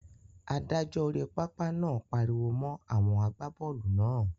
Adájọ́ orí pápá náà pariwo mọ́ àwọn àgbábọ́ọ̀lù náà.